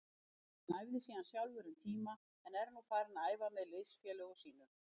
Hann æfði síðan sjálfur um tíma en er nú farinn að æfa með liðsfélögum sínum.